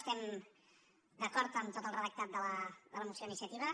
estem d’acord amb tot el redactat de la moció d’iniciativa